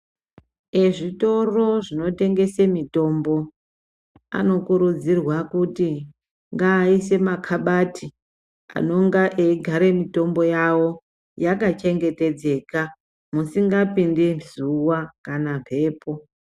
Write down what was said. Ezvitoro zvinotengese mitombo anokurudzirwa kuti ngaaise makabati anonga eigare mitombo yawo yakachengetedzeka musingapindi zuwa kana mbepo.